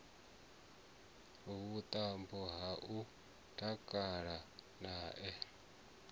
vhuṱambo ha u takala nae